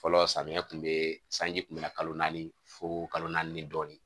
Fɔlɔ samiya kun bee sanji kun be na kalo naani fo kalo naani dɔɔni